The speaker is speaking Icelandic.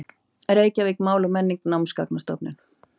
Reykjavík: Mál og menning: Námsgagnastofnun.